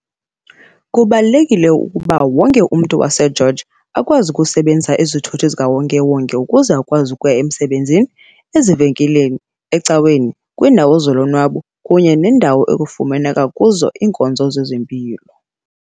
Kubalulekile ukuba wonke umntu waseGeorge akwazi ukuzisebenzisa izithuthi ziwonke-wonke ukuze akwazi ukuya emsebenzini, ezivenkileni, ecaweni, kwiindawo zolonwabo kunye nezo kufumaneka kuzo iinkonzo zezempilo.